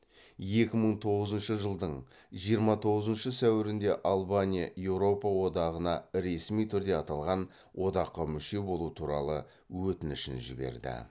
екі мың тоғызыншы жылдың жиырма тоғызыншы сәуірінде албания еуропа одағына ресми түрде аталған одаққа мүше болу туралы өтінішін жіберді